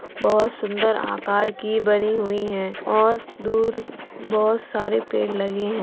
बहोत सुन्दर आकार की बनी हुई हैं और दूर बहोत सारे पेंड़ लगे हैं ।